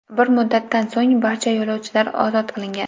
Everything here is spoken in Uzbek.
Bir muddatdan so‘ng barcha yo‘lovchilar ozod qilingan .